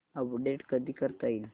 update कधी करता येईल